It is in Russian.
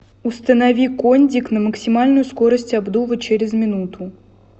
установи кондик на максимальную скорость обдува через минуту